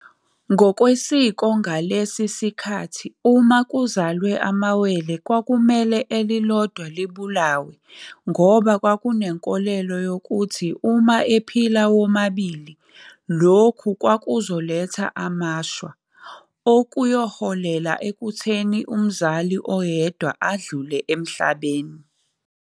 Ngokwesiko ngalesi sikhathi uma kuzalwe amawele kwakumele elilodwa libulawe ngoba kwakunkolelo yokuthi uma ephila womabili lokhu kwakuzoletha amashwa, okuyohelela ekutheni umzali oyedwa adlule emhlabeni.